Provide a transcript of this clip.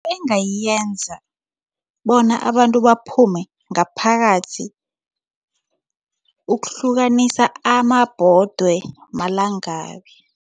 Engayenza bona abantu baphume ngaphakathi ukuhlukanisa amabhodwe malangabi.